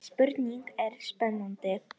Spurningin er spennandi.